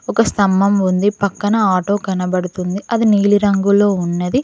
ఒక స్తంభం ఉంది పక్కన ఆటో కనబడుతుంది అది నీలి రంగులో ఉన్నది.